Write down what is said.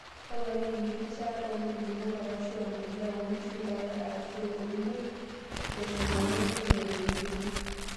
Toponai enkirishaata nkulupuok arashu empulia oo nkishu, ntare arashu ngurwei teshumata entoki naitoipieki